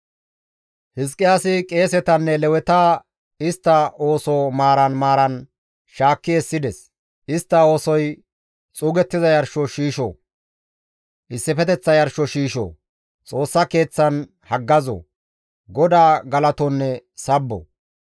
Hizqiyaasi qeesetanne Leweta istta ooso maaran maaran shaakki essides; istta oosoy xuugettiza yarsho shiisho, issifeteththa yarsho shiisho, Xoossa Keeththan haggazo, GODAA galatonne sabbo.